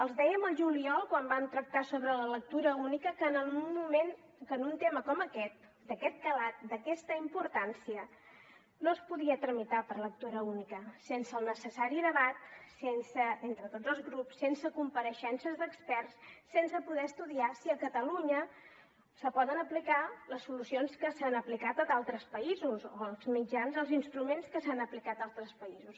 els dèiem al juliol quan vam tractar sobre la lectura única que un tema com aquest d’aquest calat d’aquesta importància no es podia tramitar per lectura única sense el necessari debat entre tots els grups sense compareixences d’experts sense poder estudiar si a catalunya se poden aplicar les solucions que s’han aplicat a d’altres països o els mitjans els instruments que s’han aplicat a altres països